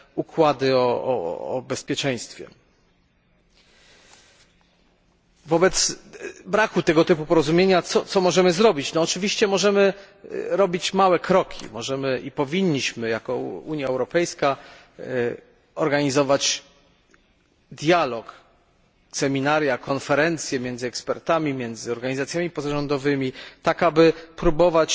układy o bezpieczeństwie. Wobec braku tego typu porozumienia, co możemy zrobić? No oczywiście możemy robić małe kroki, możemy i powinniśmy jako Unia Europejska organizować dialog, seminaria, konferencje między ekspertami, organizacjami pozarządowymi, tak aby próbować